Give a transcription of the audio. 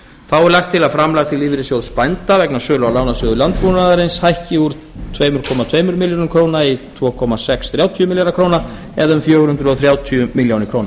þá er lagt til að framlag til lífeyrissjóðs bænda vegna sölu á lánasjóði landbúnaðarins hækki úr tvö þúsund tvö hundruð milljóna króna í tvö þúsund sex hundruð þrjátíu milljónir króna eða um fjögur hundruð þrjátíu milljónir króna